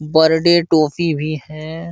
Birthday toffee भी हैं।